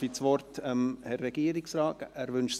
Darf ich das Wort dem Herrn Regierungsrat erteilen?